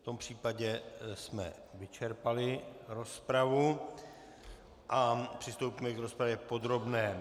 V tom případě jsme vyčerpali rozpravu a přistoupíme k rozpravě podrobné.